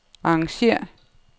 arrangér